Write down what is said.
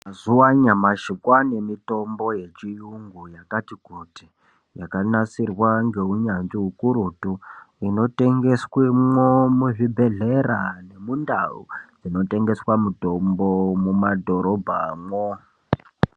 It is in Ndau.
Mazuwa anyamashi kwaane mitombo yechiyungu yakati kuti yakanasirwa ngeunyanzvi ukurutu inotengeswe mwo muzvibhedhlera nemundau dzinotengeswa mutombo muma dhorobhamwo.